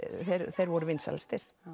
þeir voru vinsælastir